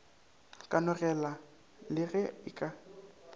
kanogelo le ge e ka